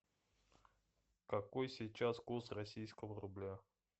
какой сейчас курс российского рубля